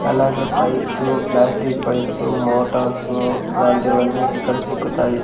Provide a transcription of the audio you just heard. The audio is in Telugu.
అలాగే పైప్సు ప్లాస్టిక్ పైప్సు మోటార్సు అలాంటివన్నీ ఇక్కడ సిక్కుతాయి.